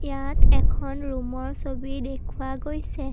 ইয়াত এখন ৰুমৰ ছবি দেখুওৱা গৈছে।